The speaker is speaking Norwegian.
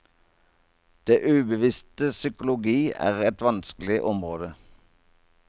Det ubevisstes psykologi er et vanskelig område.